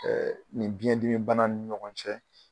Ɛɛ nin biɲɛn dimi bana ni ɲɔgɔn cɛ.